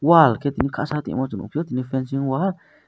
wall khetimi kasa teimo chung nukphio tini fencing wall.